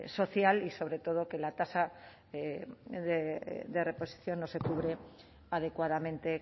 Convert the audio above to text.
ámbito social y sobre todo que la tasa de reposición no se cubre